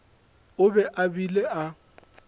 o be a bile a